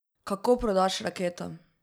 Kako prodaš raketo?